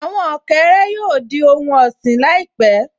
Àwọn ọ̀kẹ́rẹ́ yóò di ohun ọ̀sìn láìpẹ́